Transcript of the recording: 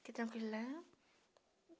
Fiquei tranquila.